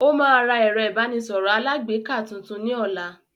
Ó máa ra ẹ̀rọ ìbánisọ̀rọ̀ alágbèéká tuntun ní ọ̀la